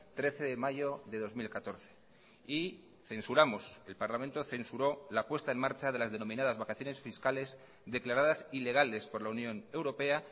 trece de mayo de dos mil catorce y censuramos el parlamento censuró la puesta en marcha de las denominadas vacaciones fiscales declaradas ilegales por la unión europea